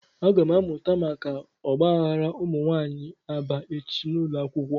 Agam amuta maka ogbaghara umunwaanyi Aba echi n'ulo akwukwo.